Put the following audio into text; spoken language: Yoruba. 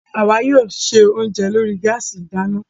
Àwa yóò ṣe oúnjẹ lórí gáàsì ìdáná